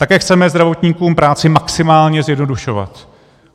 Také chceme zdravotníkům práci maximálně zjednodušovat.